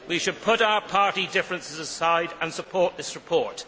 We should put our party differences aside and support this report.